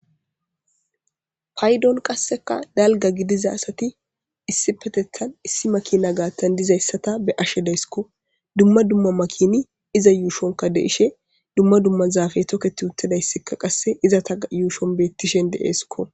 Payidon qasekka dalga gidida asati issippeteththan issi makina gaaththan dizayissa ta beyshshe daysikko dumma dumma makini iza yushshonkka de'ishshe dumma dumma zafey toket utidayssa qase izeta yushon de'esikko